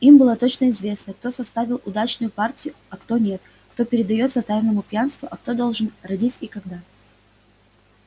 им было точно известно кто составил удачную партию а кто нет кто передаётся тайному пьянству а кто должен родить и когда